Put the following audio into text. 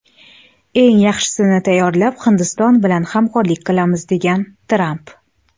Eng yaxshisini tayyorlab, Hindiston bilan hamkorlik qilamiz”, degan Tramp.